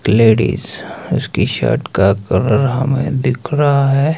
Ladies इसकी T shirt का colour हमें दिख रहा है।